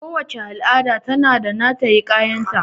Kowace al'ada ta na da hiƙayan ta